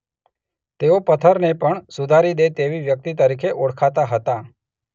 તેઓ પથ્થરને પણ સુધારી દે તેવી વ્યક્તિ તરીકે ઓળખાતા હતા.